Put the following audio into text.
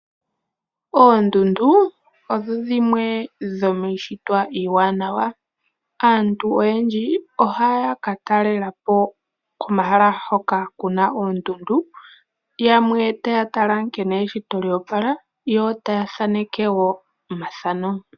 Oondundu odho dhimwe dhomiishitwa iiwanawa. Aantu oyendji ohaya ka talela po komahala hoka ku na oondundu, yamwe taya tala nkene eshito lyo opala, yo taya thaneke wo omathano.